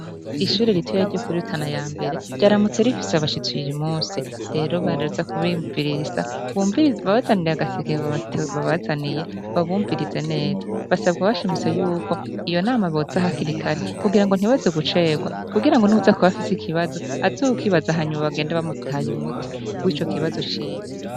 Ishure rituya ryo kurirutana ya mbere ryaramutse rifise abashitse yiri musi rero baraza kubimvirisa bumibabazanire agaseke babazaniye babumvirize neza basabwa abashimiso yuko iyo nama boza aha kirikare kugira ngo ntibaze gucerwa kugira ngo nuza kubafise ikibazo azokibaza hanyuma bagenda bamutaye umutiwee o ikibazo ciwe.